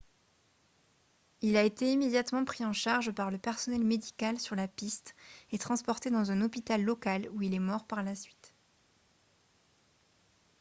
il a été immédiatement pris en charge par le personnel médical sur la piste et transporté dans un hôpital local où il est mort par la suite